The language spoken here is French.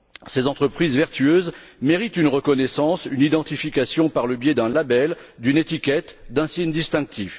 Ces entreprises vertueuses méritent une reconnaissance, une identification par le biais d'un label, d'une étiquette, d'un signe distinctif.